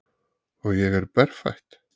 Og ég er berfætt.